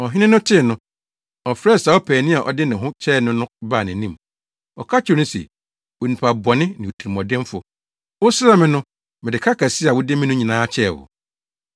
“Ɔhene no tee no, ɔfrɛɛ saa ɔpaani a ɔde ne ho kyɛɛ no no baa nʼanim. Ɔka kyerɛɛ no se, ‘Onipa bɔne ne otirimɔdenfo! Wosrɛɛ me no, mede ka kɛse a wode me no nyinaa kyɛɛ wo;